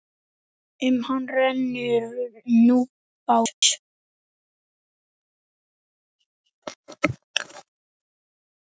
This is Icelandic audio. Um hann rennur Núpsá.